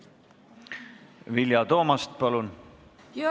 Vilja Toomast, palun!